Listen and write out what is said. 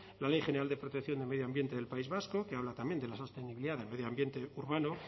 la ley general de protección de medio ambiente del país vasco que habla también de la sostenibilidad del medio ambiente urbano